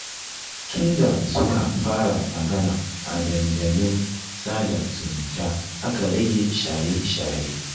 Tunda suka fara magana a dandalin sada zumunta aka rage shaye-shaye